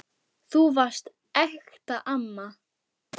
Þú varst ekta amma.